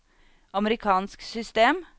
amerikansk system